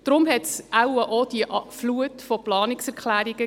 Deshalb gab es wohl auch diese Flut von Planungserklärungen.